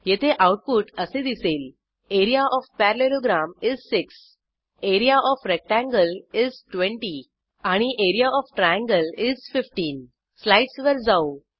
येथे आऊटपुट असे दिसेल area of parallelogram is 6 area of rectangle is 20 आणि एआरईए ओएफ ट्रायंगल इस 15 स्लाईडसवर जाऊ